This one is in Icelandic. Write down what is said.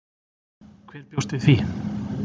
Hver bjóst við því?